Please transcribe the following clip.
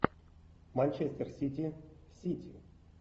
манчестер сити сити